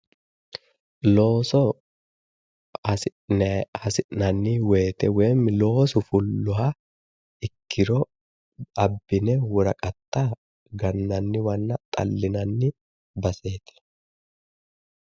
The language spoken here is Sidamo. Looso hasi'nanni wooyiite woy loosu fulloha ikkiro abbine woraqatta gannanniwanna xallinanni baseeti.